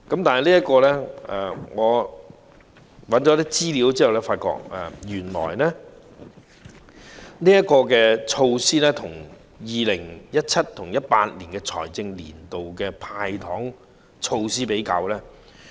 不過，我搜尋了一些資料後，將這項措施與 2017-2018 財政年度的"派糖"措施作出比較。